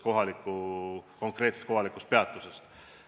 Kõik oleneb konkreetsest kohalikust peatusest.